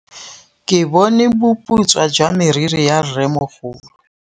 Ke bone boputswa jwa meriri ya rrêmogolo.